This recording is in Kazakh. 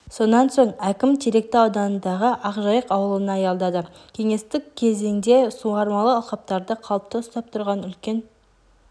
сонан соң әкім теректі ауданындағы ақжайық аулына аялдады кеңестік кезеңде суармалы алқаптарды қалыпты ұстап тұрған үлкен